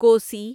Kosi